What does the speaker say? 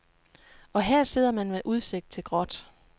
Og her sidder man med udsigt til gråt.